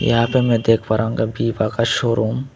यहां पे मैं देख पा रहा हूँ बीबा का शोरूम ।